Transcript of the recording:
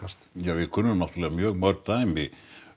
við kunnum náttúrulega mjög mörg dæmi